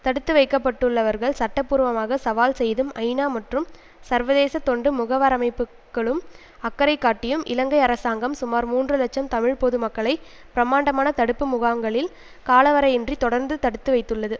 தடுத்து வைக்கப்பட்டுள்ளவர்கள் சட்ட பூர்வமாக சவால் செய்தும் ஐநா மற்றும் சர்வதேச தொண்டு முகவரமைப்புக்களும் அக்கறை காட்டியும் இலங்கை அரசாங்கம் சுமார் மூன்று இலட்சம் தமிழ் பொது மக்களை பிரமாண்டமான தடுப்பு முகாங்களில் காலவரையறையின்றி தொடர்ந்தும் தடுத்து வைத்துள்ளது